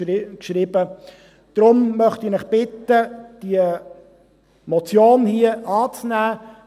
Daher möchte ich Sie bitten, diese Motion hier anzunehmen.